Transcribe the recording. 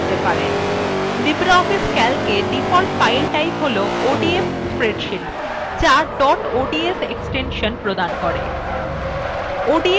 libreoffice calc মধ্যে default file type হল odf spreadsheet the dot ods extension দেয়